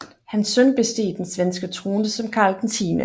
Hans søn besteg den svenske trone som Karl 10